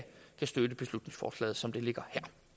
støtte beslutningsforslaget som det ligger